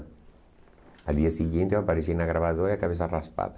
No dia seguinte eu apareci na gravadora e a cabeça raspada.